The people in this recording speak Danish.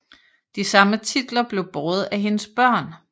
De samme titler blev båret af hendes børn